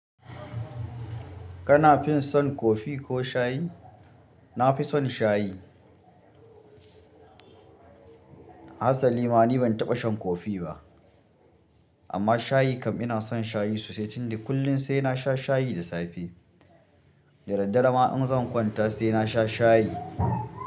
Kana fin son kofi ko shayi? Na fi son shayi. Hasalima ni ban taɓa shan kofi ba. Amma shayi kam ina son shayi sosai tundi. Kullin sai na sha shayi da safe. Da daddare ma in zan kwanta sai na sha shayi.